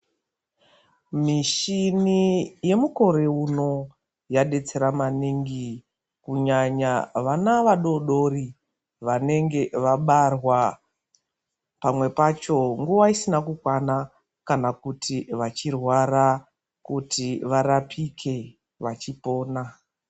Mishini yemukore uno yabetsera maningi kunyanya vana vadodori vanenge vabarwa pamwe pacho nguva isina. Kana kuti vachirwara kuti varapike vachipona.